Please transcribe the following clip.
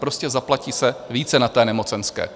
Prostě zaplatí se více na té nemocenské.